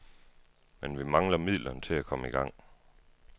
Men vi mangler midlerne til at komme i gang.